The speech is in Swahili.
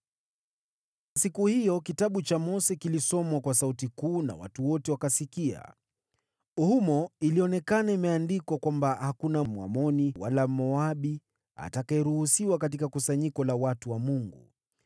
Siku hiyo, Kitabu cha Mose kilisomwa kwa sauti kuu, na watu wote wakasikia. Humo ilionekana imeandikwa kwamba hakuna Mwamoni wala Mmoabu atakayeruhusiwa katika kusanyiko la watu wa Mungu,